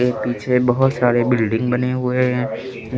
पीछे बहोत सारे बिल्डिंग बने हुए हैं।